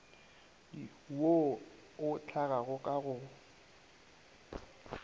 wo o hlagago ka go